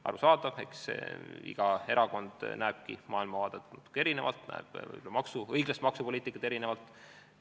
Arusaadav, eks iga erakonna maailmavaade olegi natuke erinev, iga erakond näeb õiglast maksupoliitikat erinevalt.